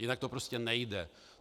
Jinak to prostě nejde.